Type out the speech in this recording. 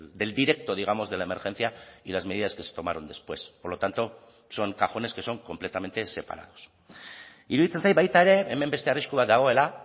del directo digamos de la emergencia y las medidas que se tomaron después por lo tanto son cajones que son completamente separados iruditzen zait baita ere hemen beste arrisku bat dagoela